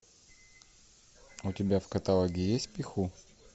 у тебя в каталоге есть пиху